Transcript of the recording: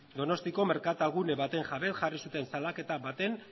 donostiako merkatal gune baten jabe jarri zuten salaketa baten